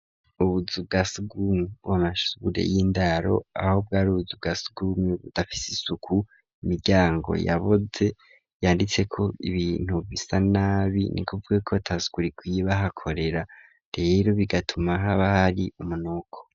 Ubuzu bwasugumwe bwo mumashure y'indaro aho bwari ubuzu bwasugumwe budafise isuku imiryango yaboze yanditseko ibintu bisa nabi nikuvugako atasuku rikwiye bahakorera réro bigatuma haba hari umunuko.